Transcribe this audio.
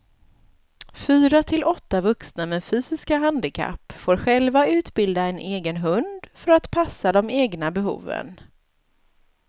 Fyra till åtta vuxna med fysiska handikapp får själva utbilda en egen hund för att passa de egna behoven.